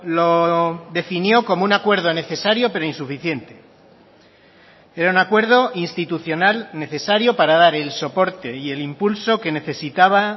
lo definió como un acuerdo necesario pero insuficiente era un acuerdo institucional necesario para dar el soporte y el impulso que necesitaba